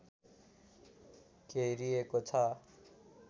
घेरिएको छ